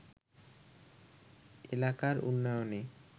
এলাকার উন্নয়নে